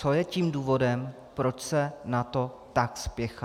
Co je tím důvodem, proč se na to tak spěchá?